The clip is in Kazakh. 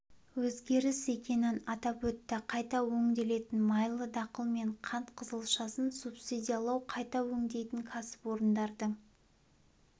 өзгеріс екенін атап өтті қайта өңделетін майлы дақыл мен қант қызылшасын субсидиялау қайта өңдейтін кәсіпорындардың